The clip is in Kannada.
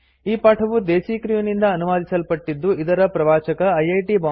ಈ ಪಾಠವು ದೇಸೀ ಕ್ರ್ಯೂ ನಿಂದ ಅನುವಾದಿಸಲ್ಪಟ್ಟಿದ್ದು ಇದರ ಪ್ರವಾಚಕ ಐಐಟಿ